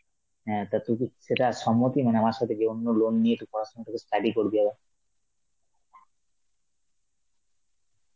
হ্যাঁ তা তুই কি সেটা সম্মতি মানে আমার সাথে কি অন্য loan নিয়ে তুই পড়াশোনা টাকে study করবি আবার?